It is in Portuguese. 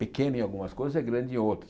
pequeno em algumas coisas é grande em outras.